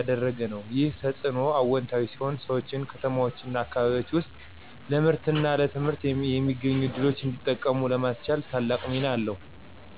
ያደረገ ነው። ይህ ተጽዕኖ አዎንታዊ ሲሆን ሰዎች ከተማዎችና አካባቢዎች ውስጥ ለምርትና ለትምህርት የሚገኙ ዕድሎችን እንዲጠቀሙ ለማስቻል ታላቅ ሚና አለው።